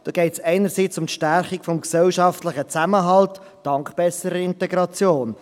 Da geht es einerseits um die Stärkung des gesellschaftlichen Zusammenhalts dank besserer Integration.